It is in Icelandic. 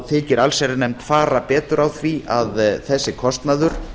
þykir allsherjarnefnd fara betur á því að þessi kostnaður